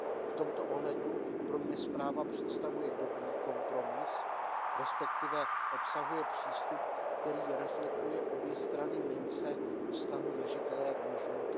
V tomto ohledu pro mě zpráva představuje dobrý kompromis, respektive obsahuje přístup, který reflektuje obě strany mince vztahu věřitele a dlužníka.